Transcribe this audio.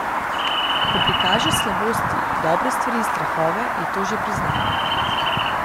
Ko prikažeš slabosti, dobre stvari in strahove, je to že priznanje.